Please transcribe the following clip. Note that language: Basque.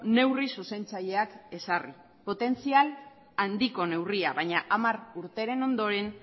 neurri zuzentzaileak ezarri potentzial handiko neurria baina hamar urteren ondoren